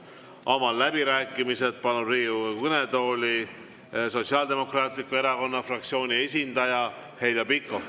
Avan läbirääkimised ja palun Riigikogu kõnetooli Sotsiaaldemokraatliku Erakonna fraktsiooni esindaja Heljo Pikhofi.